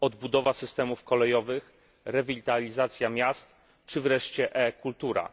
odbudowa systemów kolejowych, rewitalizacja miast, czy e kultura.